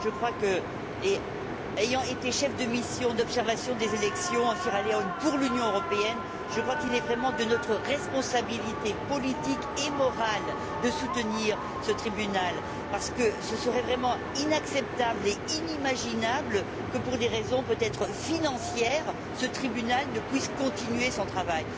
Je crois, ayant été chef de la mission d'observation des élections en Sierra Leone pour l'Union européenne, qu'il est vraiment de notre responsabilité politique et morale de soutenir ce tribunal, parce qu'il serait vraiment inacceptable et inimaginable que, pour des raisons peut être financières, ce tribunal ne puisse continuer son travail.